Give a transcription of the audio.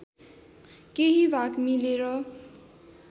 केही भाग मिलेर